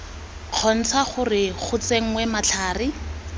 kgontsha gore go tsenngwe matlhare